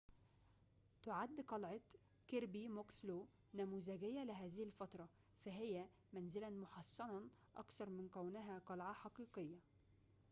تعد قلعة كيربي موكسلو نموذجية لهذه الفترة فهي منزلاً محصناً أكثر من كونها قلعة حقيقية